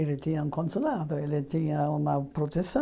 Ele tinha um consulado, ele tinha uma proteção.